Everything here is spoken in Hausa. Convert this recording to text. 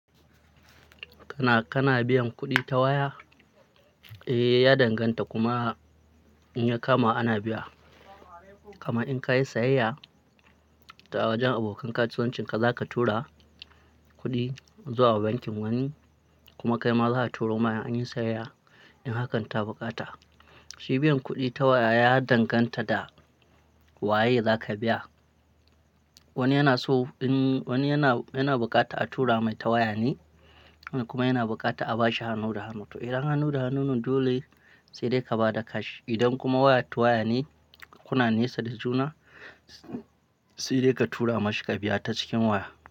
Kana, kana biyan kuɗi ta waya? Eh, ya danganta kuma, in ya kama ana biya. Kuma in ka yi sayayya ta wajen abokan kasuwancinka, za ka tura kuɗi zuwa bankin wani kuma kai ma za a turo ma an yi sayayya, in hakan ta bukata. Shi biyan kuɗi ta waya ya danganta da, waye za ka biya. Wani yana so in, wani yana, yana bukata a tura mai ta waya ne kuma yana bukata a bashi hannu da hannu. To idan hannu da hannu ne dole sai dai ka ba da cash. Idan kuma waya ta waya ne, kuna nesa da juna sai dai ka tura mashi ka biya ta cikin waya.